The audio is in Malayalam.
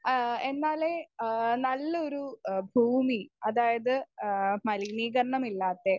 സ്പീക്കർ 1 ഏഹ് എന്നാലേ നല്ലൊരു ഹ് ഭൂമി അതായത് ഏഹ് മലിനീകരണമില്ലാത്തെ